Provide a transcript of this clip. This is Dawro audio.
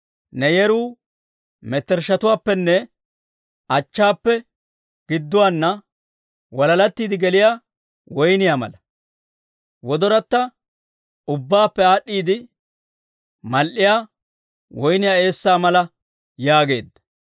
Ne yeruu mettershshatuwaappenne achchaappe gidduwaana, walalattiidde geliyaa woyniyaa mala. Wodoratta: Ubbaappe aad'd'iide mal"iyaa woyniyaa eessaa mala yaageedda.